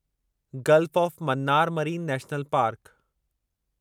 gulf of Mannar marine national park